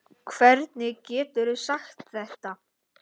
Hvernig geturðu sagt þetta?